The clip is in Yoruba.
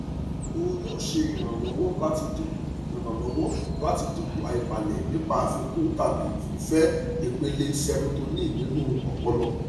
o yoo ṣe iranlọwọ lati dinku iranlọwọ lati dinku aibalẹ nipa afikun tabi fifẹ ipele serotonin ninu ọpọlọ